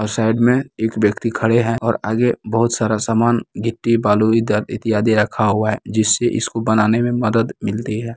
और साइड में एक व्यक्ति खड़े है और आगे बहोत सारा सामान गिट्टी बालू इत्यादि इत्यादि रखा हुआ है जिससे इसको बनाने में मदद मिलती है।